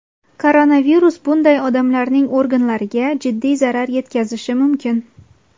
koronavirus bunday odamlarning organlariga jiddiy zarar yetkazishi mumkin.